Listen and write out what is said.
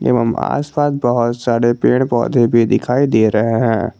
एवं आसपास बहुत सारे पेड़ पौधे भी दिखाई दे रहे हैं।